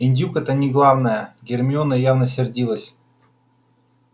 индюк но это не главное гермиона явно сердилась